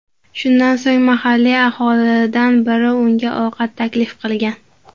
Shundan so‘ng, mahalliy aholidan biri unga ovqat taklif qilgan.